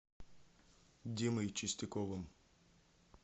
димой чистяковым